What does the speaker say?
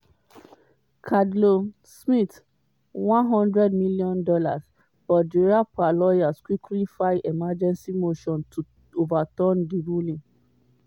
cardello-smith $100m. but di rapper lawyers quickly file emergency motion to overturn di ruling.